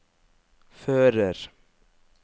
fører